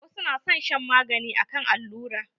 Wasu na son shan maganin akan allura.